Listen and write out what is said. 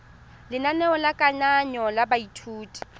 lenaneo la kananyo ya baithuti